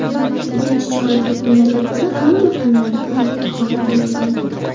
Birinchi chorak yakunlariga ko‘ra, hamma fanlardan a’lo baholarga o‘qigan.